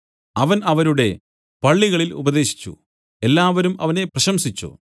അവൻ അവരുടെ പള്ളികളിൽ ഉപദേശിച്ചു എല്ലാവരും അവനെ പ്രശംസിച്ചു